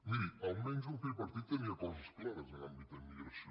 miri almenys el tripartit tenia coses clares en àmbit d’immigració